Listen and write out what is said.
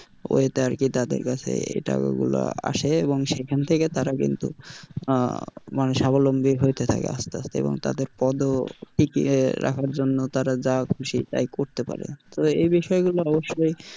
Way তে আর কি তাদের কাছে এই টাকাগুলো আসে এবং সেখান থেকে তারা কিন্তু আহ মানে স্বাবলম্বী হয়তে থাকে আস্তে আস্তে এবং তাদের পদ ও টিকিয়ে রাখার জন্য তারা যা খুশি তাই করতে পারে তবে এই বিষয়গুলো অবশ্যই,